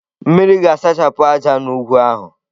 Mmiri ga-asachapụ ájá n'ugwu ahụ.